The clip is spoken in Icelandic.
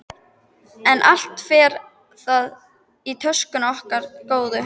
En allt fer það í töskuna okkar góðu.